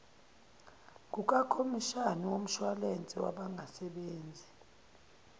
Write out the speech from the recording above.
kukakhomishani womshwayilense wabangasebenzi